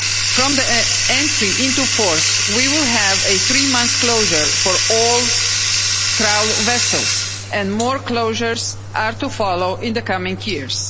From the entry into force, we will have a three-month closure for all trawl vessels and more closures are to follow in the coming years.